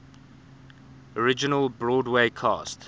original broadway cast